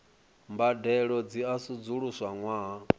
mbadelo dzi a sedzuluswa ṅwaha